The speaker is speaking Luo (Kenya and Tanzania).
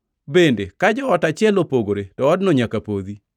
Bende ka joot achiel opogore to odno nyaka podhi.